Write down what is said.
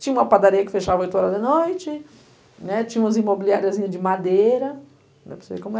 Tinha uma padaria que fechava oito horas da noite, né, tinha umas imobiliariazinha de madeira. Não sei como é